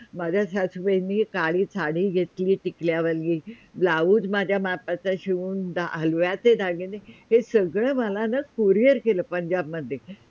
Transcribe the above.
माझ्या सासुबाईंनी काळी साडी घेतली टिकल्यावाली Blouse माझ्या मापाचा शिऊन हळव्याचे दागिणे हे सगळे मला न Courier केलं पंजाब मध्ये